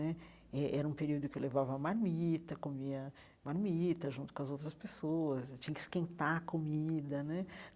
Né eh eh era um período que eu levava marmita, comia marmita junto com as outras pessoas, e tinha que esquentar a comida né.